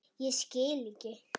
Ég skildi ekki.